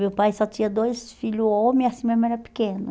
Meu pai só tinha dois filhos homens e assim a minha mãe era pequena.